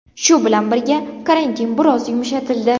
Shu bilan birga, karantin biroz yumshatildi.